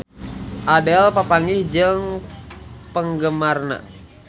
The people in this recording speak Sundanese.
Adele papanggih jeung penggemarna